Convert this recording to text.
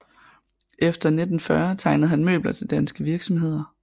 Efter 1940 tegnede han møbler til danske virksomheder